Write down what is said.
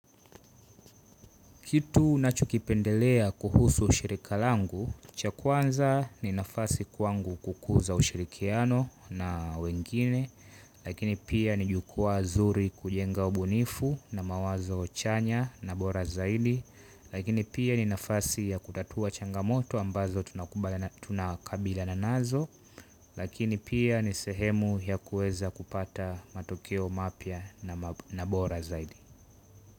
Kitu nachokipendelea kuhusu shirika langu, cha kwanza ni nafasi kwangu kukuza ushirikiano na wengine, lakini pia ni jukwaa nzuri kujenga ubunifu na mawazo chanya na bora zaidi, lakini pia ni nafasi ya kutatua changamoto ambazo tunakumbana tunakabilina nazo, lakini pia ni sehemu ya kueza kupata matokeo mapya na bora zaidi.